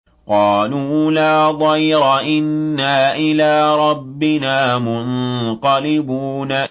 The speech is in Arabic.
قَالُوا لَا ضَيْرَ ۖ إِنَّا إِلَىٰ رَبِّنَا مُنقَلِبُونَ